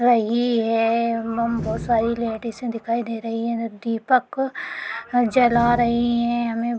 रही है बहोत सारी लाडिसें दिखाई दे रहीं हैं दीपक जला रहीं हैं हमें --